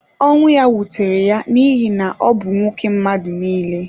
Ọnwụ ya wutere ya n’ihi na ọ bụ nwoke mmadụ nile.